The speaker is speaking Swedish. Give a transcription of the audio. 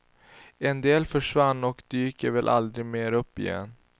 En del försvann och dyker väl aldrig mer upp igen.